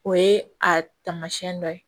O ye a taamasiyɛn dɔ ye